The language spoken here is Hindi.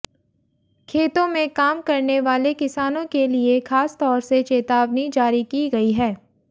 खेतो में काम करनेवाले किसानों के लिए खासतौर से चेतावनी जारी की गई है